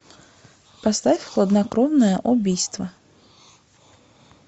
поставь хладнокровное убийство